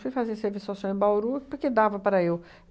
Fui fazer serviço ao social em Bauru, porque dava para eu.